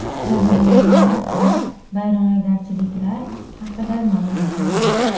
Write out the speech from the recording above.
Jabrlanganlar va vayronagarchiliklar haqida ma’lumotlar yo‘q.